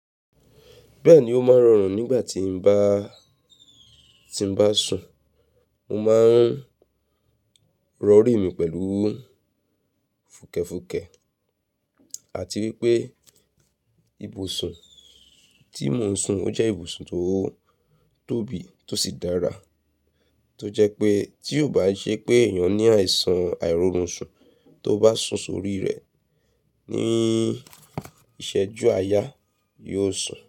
Bẹ́ẹ̀ ni ó máa ń rọrùn nígbà tí ń bá, tí ń bá sùn. Mo máa ń rọ orí mi pẹ̀lú fùkẹ̀fùkẹ̀ àti wípé ibùsùn tí mò ń sùn ó jẹ́ ibùsùn tó tóbi tó sì dára. Tó jẹ́ pé tí ò bá ṣe pé èèyàn ní àìsàn àìrórun sùn tó bá sùn sórí rẹ̀ ní ìṣẹ́jú àáyá yóò sùn.